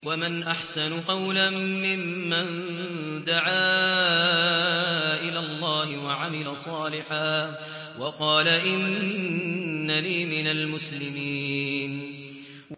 وَمَنْ أَحْسَنُ قَوْلًا مِّمَّن دَعَا إِلَى اللَّهِ وَعَمِلَ صَالِحًا وَقَالَ إِنَّنِي مِنَ الْمُسْلِمِينَ